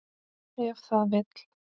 Ef það vill.